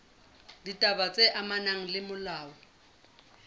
ditaba tse amanang le molao